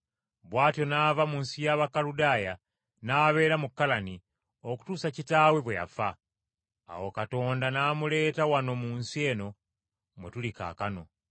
“Bw’atyo n’ava mu nsi y’Abakuludaaya n’abeera mu Kalani, okutuusa kitaawe bwe yafa. Awo Katonda n’amuleeta wano mu nsi eno mwe tuli kaakano.